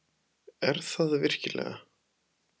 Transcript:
Er það virkilega?